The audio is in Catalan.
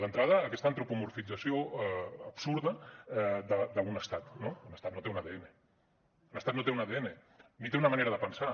d’entrada aquesta antropomorfització absurda d’un estat no un estat no té un adn un estat no té un adn ni té una manera de pensar